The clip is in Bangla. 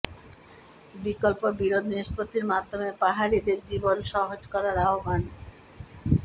বিকল্প বিরোধ নিষ্পত্তির মাধ্যমে পাহাড়িদের জীবন সহজ করার আহ্বান